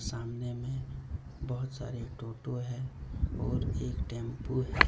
सामने में बहुत सारे टोटो है और एक टेंपो है।